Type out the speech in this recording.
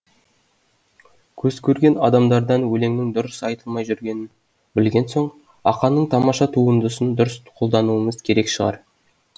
көзкөрген адамдардан өлеңнің дұрыс айтылмай жүргенін білген соң ақанның тамаша туындысын дұрыс қолдануымыз керек шығар